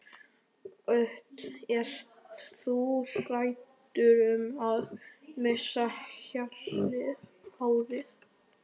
Hödd: Ert þú hræddur um að missa hárið?